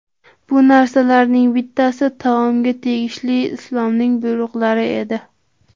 Bu narsalarning bittasi taomga tegishli Islomning buyruqlari edi.